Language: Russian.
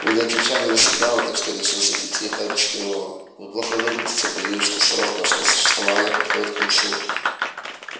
вы не отвечали на сигналы так что я решил зайти тихо объяснил он вы плохо выглядите боюсь что срок вашего существования подходит к концу